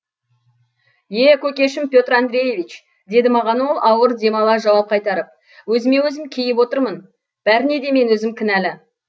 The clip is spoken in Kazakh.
е көкешім петр андреевич деді маған ол ауыр дем ала жауап қайтарып өзіме өзім кейіп отырмын бәріне де мен өзім кінәлі